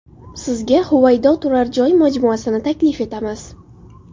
Sizga Huvaydo turar joy majmuasini taklif etamiz.